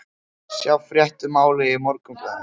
Sjá frétt um málið í Morgunblaðinu